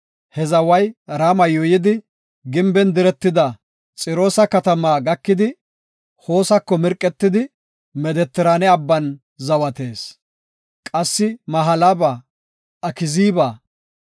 He zaway Rama yuuyidi, gimben diretida Xiroosa katamaa gakidi, Hoosako mirqetidi, Medetiraane abban zawatees. Qassi Mahalaba, Akziiba,